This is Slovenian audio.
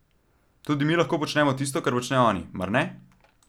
Tudi mi lahko počnemo tisto, kar počnejo oni, mar ne?